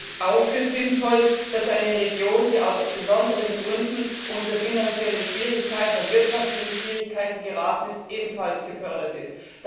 Ich hielte es auch für sinnvoll, dass eine Region, die aus besonderen Gründen in finanzielle und wirtschaftliche Schwierigkeiten geraten ist, ebenfalls gefördert wird.